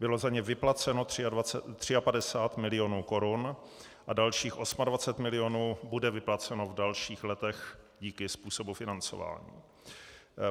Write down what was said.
Bylo za ně vyplaceno 53 milionů korun a dalších 28 milionů bude vypláceno v dalších letech díky způsobu financování.